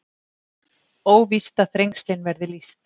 Óvíst að Þrengslin verði lýst